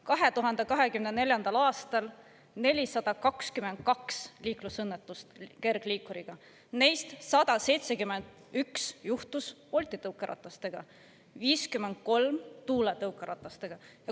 2024. aastal 422 liiklusõnnetust kergliikuriga, neist 171 juhtus Bolti tõukeratastega, 53 Tuule tõukeratastega.